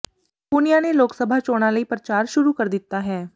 ਪੂਨੀਆ ਨੇ ਲੋਕ ਸਭਾ ਚੋਣਾਂ ਲਈ ਪ੍ਰਚਾਰ ਸ਼ੁਰੂ ਕਰ ਦਿੱਤਾ ਹੈ